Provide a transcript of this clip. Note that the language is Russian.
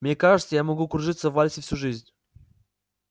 мне кажется я могу кружиться в вальсе всю жизнь